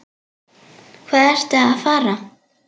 Hvað ertu að fara?